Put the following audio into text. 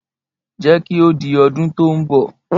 Jẹ́ kí ó di ọdún tó ń bọ̀.